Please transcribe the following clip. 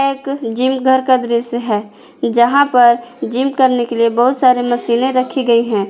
एक जिम घर का दृश्य है जहां पर जिम करने के लिए बहुत सारे मशीन ने रखी गई हैं।